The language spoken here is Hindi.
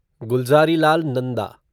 गुलज़ारीलाल नंदा